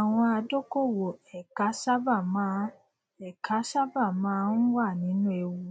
àwọn adókòwò ẹka sáábà máa ẹka sáábà máa ń wà nínú ewu